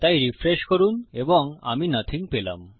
তাই রিফ্রেশ করুন এবং আমি নথিং পেলাম